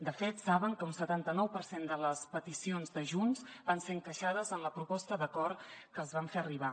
de fet saben que un setanta nou per cent de les peticions de junts van ser encaixades en la proposta d’acord que els vam fer arribar